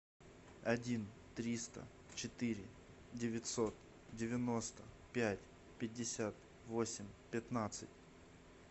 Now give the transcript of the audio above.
один триста четыре девятьсот девяносто пять пятьдесят восемь пятнадцать